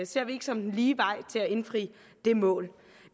ser vi ikke som den lige vej til at indfri det mål